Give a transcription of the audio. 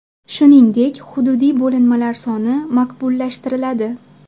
Shuningdek, hududiy bo‘linmalar soni maqbullashtiriladi.